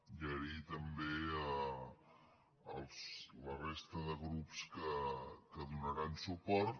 i donar les gràcies també a la resta de grups que hi donaran suport